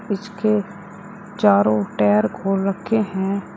इसके चारों टायर खोल रखे हैं।